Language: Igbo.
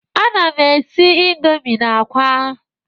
Ana m esi indomi na àkwá.